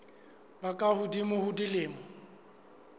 ba ka hodimo ho dilemo